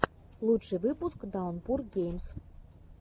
лучший выпуск даунпур геймс